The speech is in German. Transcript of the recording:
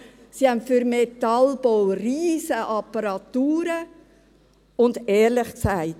Sie haben für den Metallbau riesige Apparaturen und ehrlich gesagt: